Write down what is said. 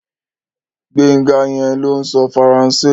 Gbénga yẹn ló ń sọ Faransé